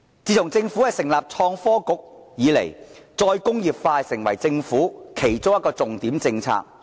自從政府成立創新及科技局以來，再工業化成為政府其中一項重點政策。